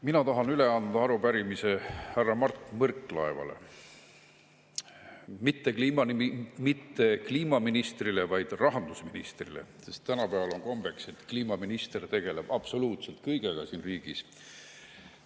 Mina tahan üle anda arupärimise härra Mart Võrklaevale, mitte kliimaministrile, vaid rahandusministrile, kuigi on kombeks, et kliimaminister tegeleb absoluutselt kõigega siin riigis.